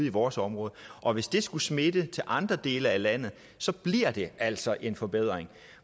i vores område og hvis det skulle smitte af på andre dele af landet bliver det altså en forbedring